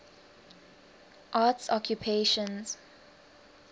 arts occupations